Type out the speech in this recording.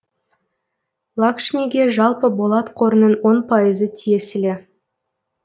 лакшмиге жалпы болат қорының он пайызы тиесілі